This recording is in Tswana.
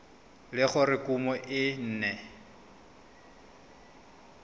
le gore kumo e ne